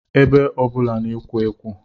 Ebe ọbụla na-ekwo ekwo